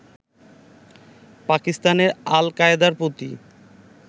পাকিস্তানে আল কায়দার প্রতি